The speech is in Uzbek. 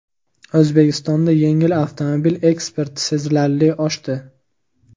O‘zbekistonda yengil avtomobil eksporti sezilarli oshdi.